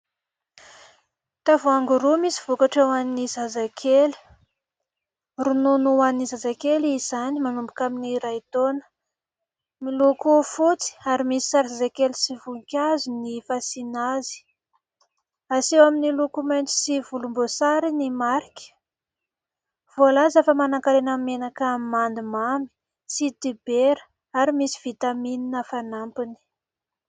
Tavoangy roa misy vokatra ho an' ny zazakely. Ronono ho an'ny zazakely izany manomboka amin'ny iray taona miloko fotsy ary misy sary zazakely sy voninkazo ny fasina azy. Aseho amin' ny loko mainty sy volomboasary ny marika. Voalaza fa manan-karena amin' ny menaka mandimamy sy dibera ary misy vitaminina fanampiny.